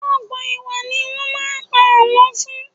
Ọ̀gbọ́n ìwà ni wọ́n máa ń pa àlọ́ fún.